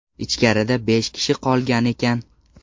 Ichkarida besh kishi qolgan ekan.